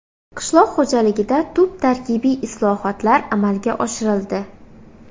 Qishloq xo‘jaligida tub tarkibiy islohotlar amalga oshirildi.